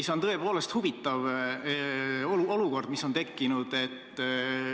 See on tõepoolest huvitav olukord, mis on tekkinud.